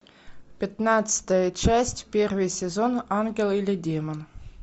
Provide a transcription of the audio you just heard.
пятнадцатая часть первый сезон ангел или демон